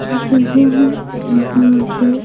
की जगह है जहां पर--